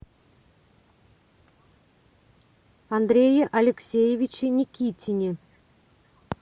андрее алексеевиче никитине